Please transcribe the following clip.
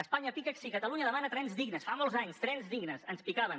espanya pica si catalunya demana trens dignes fa molts anys trens dignes ens picaven